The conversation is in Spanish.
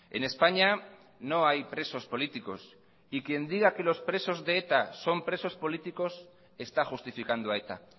en españa no hay presos políticos y quien diga que los presos de eta son presos políticos está justificando a eta